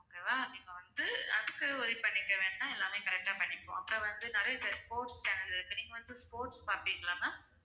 okay வா இப்போ வந்து அதுக்கு worry பண்ணிக்க வேண்டாம் எல்லாமே correct ஆ பண்ணிக்குவோம் அப்புறம் வந்து நிறைய sports channel கள் இப்போ நீங்க வந்து sports பாப்பீங்களா ma'am